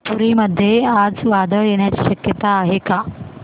पुरी मध्ये आज वादळ येण्याची शक्यता आहे का